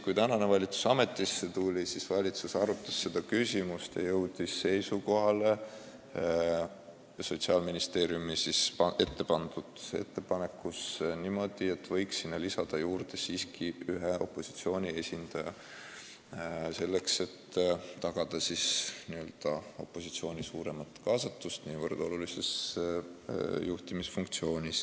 Kui praegune valitsus ametisse tuli, siis ta arutas seda küsimust ja jõudis Sotsiaalministeeriumi ette pandud ettepaneku osas sellisele seisukohale, et võiksime nõukogusse siiski lisada ühe opositsiooni esindaja, et tagada opositsiooni suurem kaasatus nii olulisse riigielu juhtimise funktsiooni.